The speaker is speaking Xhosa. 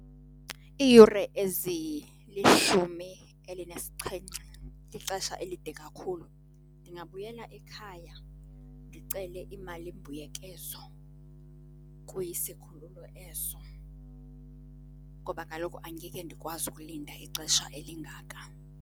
Iiyure ezilishumi elinesixhenxe lixesha elide kakhulu. Ndingabuyela ekhaya ndicele imalimbuyekezo kwisikhululo eso ngoba kaloku angeke ndikwazi ukulinda ixesha elingaka.